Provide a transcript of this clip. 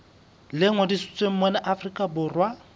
le ngodisitsweng mona afrika borwa